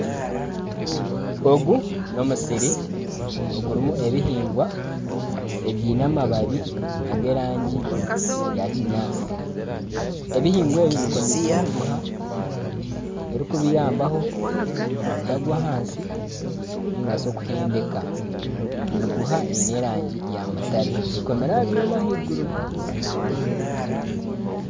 Ogu n'omusiri ogurimu ebihingwa, ebyine amababi ag'erangi ya kinyaatsi ebihingwa ebi bikomeise emiguha erikubiyambaho obutagwa ahansi ningashi okuhendeka emiguha eine erangi ya mutare ekomire aha byoma ahaiguru.